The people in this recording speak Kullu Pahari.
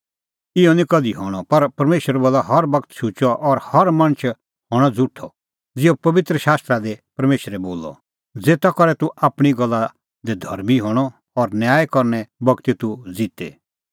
इहअ निं कधि हणअ पर परमेशर बोला हर बगत शुचअ और हर मणछ हणअ झ़ुठअ ज़िहअ पबित्र शास्त्र परमेशरे बारै बोला ज़ेता करै तूह आपणीं गल्ला दी धर्मीं हणअ और न्याय करने बगती तूह ज़िते